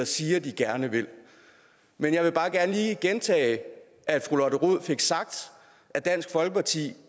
siger den gerne vil men jeg vil bare gerne lige gentage at fru lotte rod fik sagt at dansk folkeparti